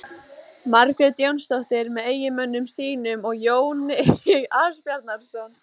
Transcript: Margrét Jónsdóttir með eiginmönnum sínum og Jón Ásbjarnarson.